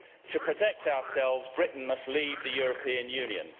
To protect ourselves, Britain must leave the European Union.